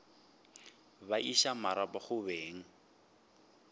ba iša marapo go beng